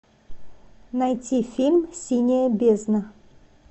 найти фильм синяя бездна